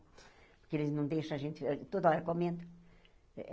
Porque eles não deixam a gente hã toda hora comendo.